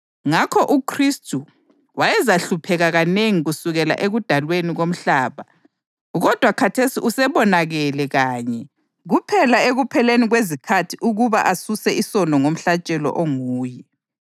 Ngakho uKhristu wayezahlupheka kanengi kusukela ekudalweni komhlaba. Kodwa khathesi usebonakale kanye kuphela ekupheleni kwezikhathi ukuba asuse isono ngomhlatshelo onguye.